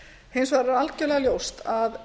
hins vegar er það algerlega ljóst að